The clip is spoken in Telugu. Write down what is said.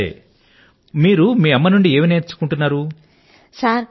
సరే మీరు మీ అమ్మ గారి వద్ద నుండి నేర్చుకొంటున్నదేమిటి